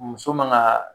Muso man ga